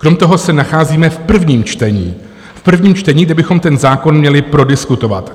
Krom toho se nacházíme v prvním čtení - v prvním čtení - kde bychom ten zákon měli prodiskutovat.